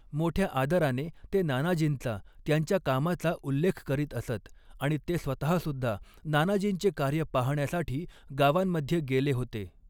मोठ्या आदराने ते नानाजींचा, त्यांच्या कामाचा उल्लेख करीत असत आणि ते स्वतःसुद्धा नानाजींचे कार्य पाहण्यासाठी गावांमध्ये गेले होते.